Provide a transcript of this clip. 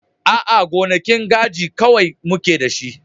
A'a, gonakin kaji kawai muke da shi.